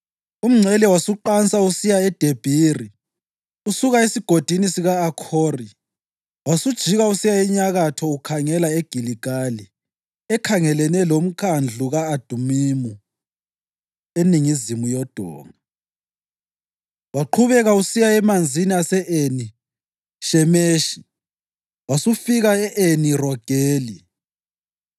Umngcele wasuqansa usiya eDebhiri usuka esigodini sika-Akhori, wasujika usiya enyakatho ukhangela eGiligali ekhangelane loMkhandlu ka-Adumimu eningizimu yodonga. Waqhubeka usiya emanzini ase-Eni Shemeshi wasufika e-Eni Rogeli.